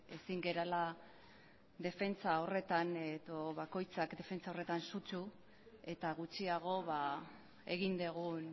ezin garela defentsa horretan edo bakoitzak defentsa horretan zutzu eta gutxiago egin dugun